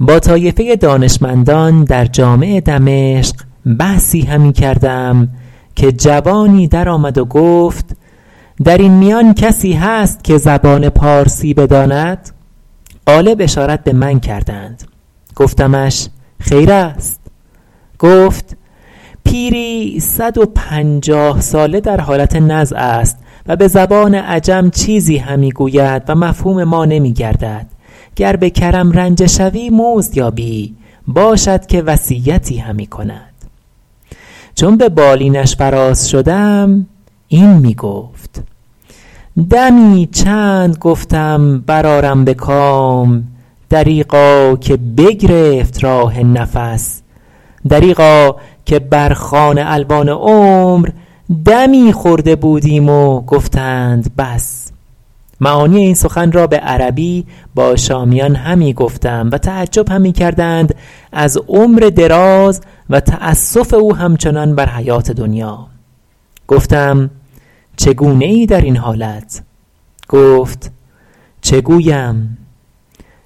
با طایفه دانشمندان در جامع دمشق بحثی همی کردم که جوانی در آمد و گفت در این میان کسی هست که زبان پارسی بداند غالب اشارت به من کردند گفتمش خیر است گفت پیری صد و پنجاه ساله در حالت نزع است و به زبان عجم چیزی همی گوید و مفهوم ما نمی گردد گر به کرم رنجه شوی مزد یابی باشد که وصیتی همی کند چون به بالینش فراز شدم این می گفت دمی چند گفتم بر آرم به کام دریغا که بگرفت راه نفس دریغا که بر خوان الوان عمر دمی خورده بودیم و گفتند بس معانی این سخن را به عربی با شامیان همی گفتم و تعجب همی کردند از عمر دراز و تأسف او همچنان بر حیات دنیا گفتم چگونه ای در این حالت گفت چه گویم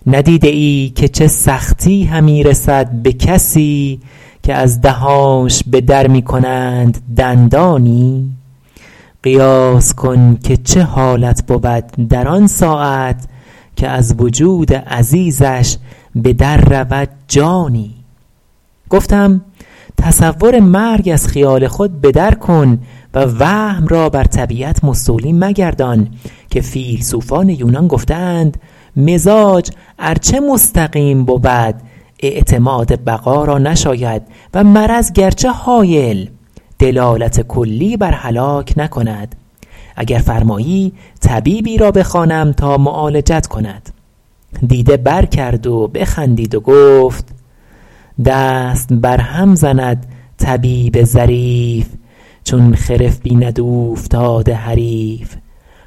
ندیده ای که چه سختی همی رسد به کسی که از دهانش به در می کنند دندانی قیاس کن که چه حالت بود در آن ساعت که از وجود عزیزش به در رود جانی گفتم تصور مرگ از خیال خود به در کن و وهم را بر طبیعت مستولی مگردان که فیلسوفان یونان گفته اند مزاج ار چه مستقیم بود اعتماد بقا را نشاید و مرض گرچه هایل دلالت کلی بر هلاک نکند اگر فرمایی طبیبی را بخوانم تا معالجت کند دیده بر کرد و بخندید و گفت دست بر هم زند طبیب ظریف چون خرف بیند اوفتاده حریف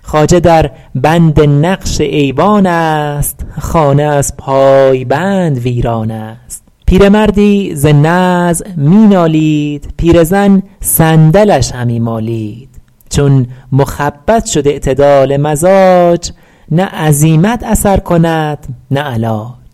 خواجه در بند نقش ایوان است خانه از پایبند ویران است پیرمردی ز نزع می نالید پیرزن صندلش همی مالید چون مخبط شد اعتدال مزاج نه عزیمت اثر کند نه علاج